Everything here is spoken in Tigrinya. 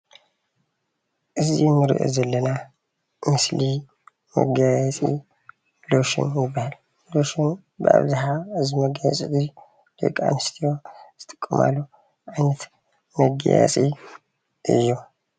እዚ እንሪኦ ዘለና ምስሊ መጋየፂ ሎሽን ይበሃል። ሎሽን ብኣብዝሓ እዚ መጋየፂ እዙይ ደቅኣንስትዮ ዝጥቀማሉ ዓይነት መጋየፂ እዩ።